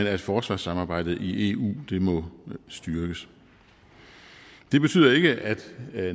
at forsvarssamarbejdet i eu må styrkes det betyder ikke at